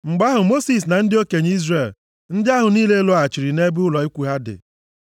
Mgbe ahụ Mosis na ndị okenye Izrel ndị ahụ niile lọghachiri nʼebe ụlọ ikwu ha dị.